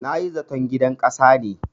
Na yi zaton gidan ƙasa ne.